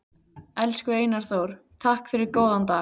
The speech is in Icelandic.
Elsku Einar Þór, takk fyrir góðan dag.